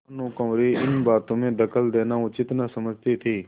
भानुकुँवरि इन बातों में दखल देना उचित न समझती थी